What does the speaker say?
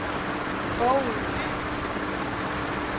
Bogø By